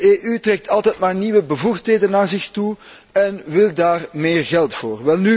De EU trekt al maar nieuwe bevoegdheden naar zich toe en wil daar meer geld voor.